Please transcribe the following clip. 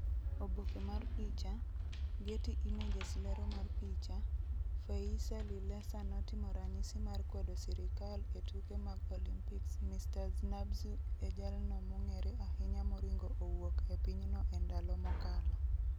Oboke mar picha, Getty Images Lero mar picha, Feyisa Lilesa notimo ranyisi mar kwedo sirikal e tuke mag Olympics Mr. Znah-Bzu e jalno mong'ere ahinya moringo owuok e pinyno e ndalo mokalo.